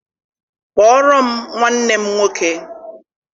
Kpọọrọ m nwanne m nwoke!